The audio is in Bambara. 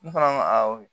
N fana ko awɔ